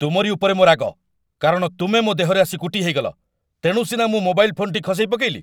ତୁମରି ଉପରେ ମୋ ରାଗ, କାରଣ ତୁମେ ମୋ ଦେହରେ ଆସି କୁଟି ହେଇଗଲ, ତେଣୁ ସିନା ମୁଁ ମୋବାଇଲ୍ ଫୋନ୍‌ଟି ଖସେଇପକେଇଲି।